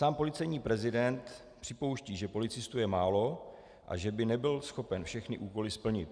Sám policejní prezident připouští, že policistů je málo a že by nebyl schopen všechny úkoly splnit.